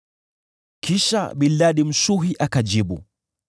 Kisha Bildadi Mshuhi akajibu: